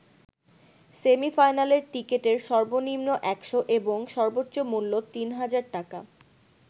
সেমি-ফাইনালের টিকেটের সর্বনিম্ন ১০০ এবং সর্বোচ্চ মূল্য তিন হাজার টাকা।